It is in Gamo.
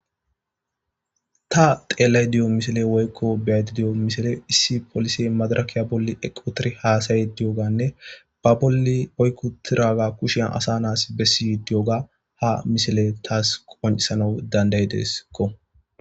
ta xeellay diyo misile woykko beyaydidiyo misile issi polise madarakiya bolli eqotiri haasaye diyoganne ba bolli oykkutiraga kushian asa naas bessi diyoga ha misile taas qonisana dandayi deesakko